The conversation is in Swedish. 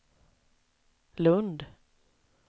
Lund